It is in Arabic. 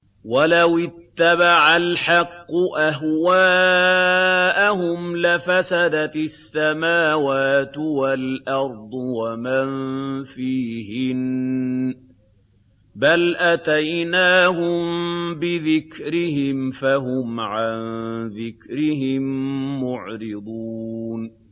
وَلَوِ اتَّبَعَ الْحَقُّ أَهْوَاءَهُمْ لَفَسَدَتِ السَّمَاوَاتُ وَالْأَرْضُ وَمَن فِيهِنَّ ۚ بَلْ أَتَيْنَاهُم بِذِكْرِهِمْ فَهُمْ عَن ذِكْرِهِم مُّعْرِضُونَ